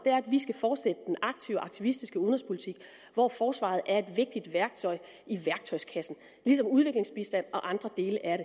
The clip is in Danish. er at vi skal fortsætte den aktive aktivistiske udenrigspolitik hvor forsvaret er et vigtigt værktøj i værktøjskassen ligesom udviklingsbistand og andre dele er